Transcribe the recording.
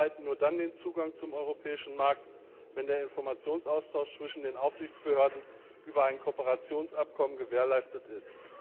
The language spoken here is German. Letztere erhalten nur dann Zugang zum europäischen Markt, wenn der Informationsaustausch zwischen den Aufsichtsbehörden über ein Kooperationsabkommen gewährleistet ist.